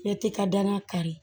Bɛɛ t'i ka danna kari